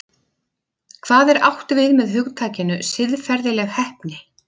Hvað er átt við með hugtakinu siðferðileg heppni?